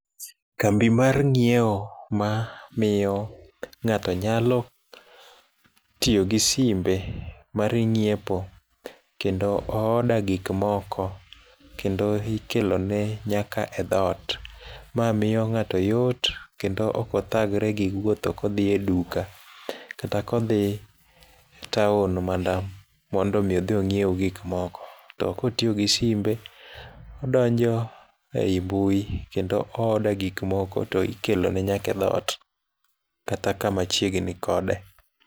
Kambi mar nyiewo ma miyo ng'ato nyalo tiyogi simbe mar nyiepo kendo oorder gik moko kendo ikelone nyaka edhot ma miyo ng'ato yot kendo ok othagre gi wuotho kodhieduka kata kodhi town mana mondo mi odhi onyiew gik moko to kotiyo gi simbe odonjo ei mbui to oorder gik moko to ikelone nyaka edhot kata kamachiegni kode.